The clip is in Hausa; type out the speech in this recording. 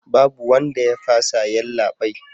Babu wanda ya fasa yallabai